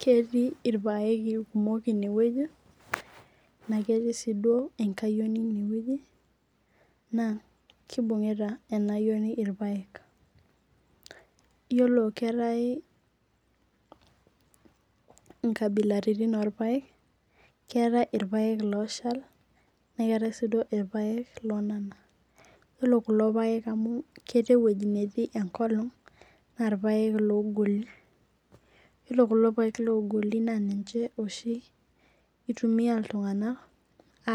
Ketii irpaek kumok inewueji na ketii enkayioni ineweuji na kibungita inaayieni irpaek yiolo keetai inkabilaitin orpaek keetai irpaek oshal nekeetai si irpake onana ore kulo pake amu ketii ewoi natii enkolong na ninche ogolo ore kulo paek ogolo na ninche oshi itumia ltunganak